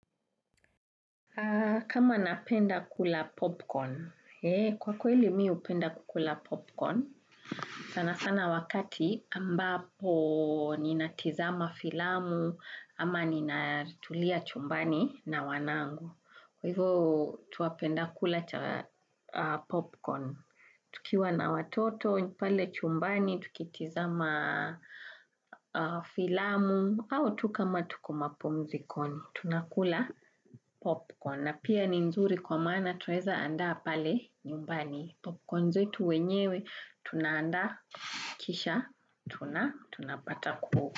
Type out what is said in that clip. Kama napenda kula popcorn, kwa kweli mi hupenda kukula popcorn, sana sana wakati ambapo ninatizama filamu, ama ninatulia chumbani na wanangu. Kwa hivyo twapenda kula popcorn, tukiwa na watoto, pale chumbani, tukitizama filamu, au tu kama tuko mapumzikoni, tunakula popcorn. Na pia ni nzuri kwa maana twaweza andaa pale nyumbani. Popcorn zetu wenyewe, tunaandaa, kisha, tuna tunapata kuhu.